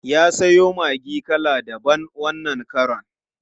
Ya siyo maggi kala daban wannan karon.